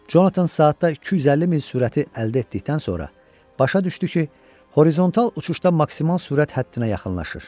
Jonathan saatda 250 min sürəti əldə etdikdən sonra başa düşdü ki, horizontal uçuşda maksimal sürət həddinə yaxınlaşır.